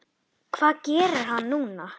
Hvað gerir hann núna?